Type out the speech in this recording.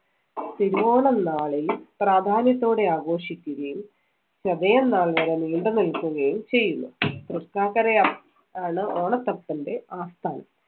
തിരുവോണനാളിൽ പ്രാധാന്യത്തോടെ ആഘോഷിക്കുകയും ചതയം നാൾ വരെ നീണ്ടുനിൽക്കുകയും ചെയ്യുന്നു. തൃക്കാക്കര ആ~ ആണ് ഓണത്തപ്പന്‍റെ ആസ്ഥാനം.